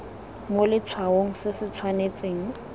mo letshwaong se se tshwanetseng